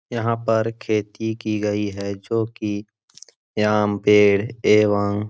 यहाँ पर खेती की गयी है जोकि आम पेड़ एवम--